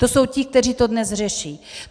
To jsou ti, kteří to dnes řeší.